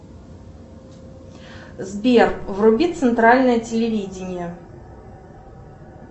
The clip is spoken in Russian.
сбер вруби центральное телевидение